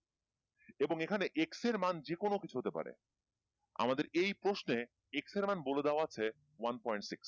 এবং এখানে X এর মান যে কোনো কিছু হতে পারে আমাদের এই প্রশ্নে X এর মান বলে দেওয়া আছে one point six